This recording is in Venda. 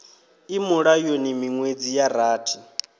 i mulayoni miṅwedzi ya rathi